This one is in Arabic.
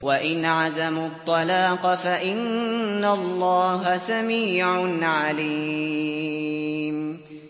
وَإِنْ عَزَمُوا الطَّلَاقَ فَإِنَّ اللَّهَ سَمِيعٌ عَلِيمٌ